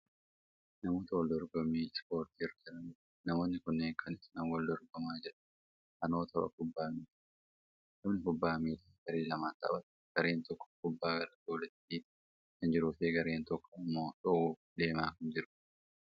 Namoota wal dorgommii ispoortii irra jiranidha. Namoonni kunneen kan isaan wal dorgomaa jiran annoo tapha kubbaa miilaati. Taphni kubbaa miilaa garee lamaan taphatama. Gareen tokko gubbaa gara gooliitti dhiitaa kan jiruufi gareen tokko ammoo dhoowwuuf deemaa kan jirudha.